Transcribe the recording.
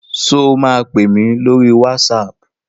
Sọ ma pèmí lórí WhatsApp?